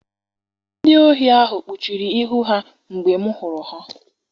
Ndị ohi ahụ kpuchiri ihu ha mgbe m hụrụ ha.